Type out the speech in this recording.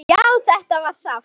Já, þetta var sárt.